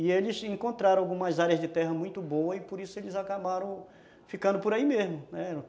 E eles encontraram algumas áreas de terra muito boas e por isso eles acabaram ficando por aí mesmo, né.